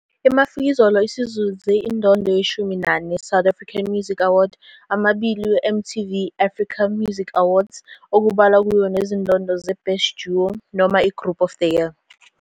IMafikizolo isizuze indondo ye-14 South African Music Award, 2 MTV Africa Music Awards okubalwa kuyo nezindondo zeBest Duo noma iGroup of the Year.